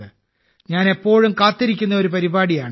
ഞാൻ എപ്പോഴും കാത്തിരിക്കുന്ന ഒരു പരിപാടിയാണിത്